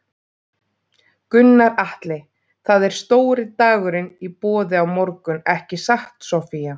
Gunnar Atli: Það er stóri dagurinn í boði á morgun ekki satt Soffía?